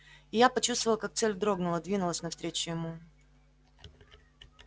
и я почувствовал как цель дрогнула двинулась навстречу ему